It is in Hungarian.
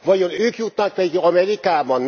Vajon ők jutnak Amerikába?